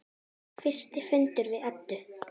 Fyrsti fundur við Eddu.